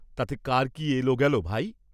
তাতে কার কি এল গেল, ভাই?